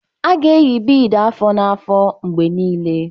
A ga-eyi beads afọ na afọ mgbe niile.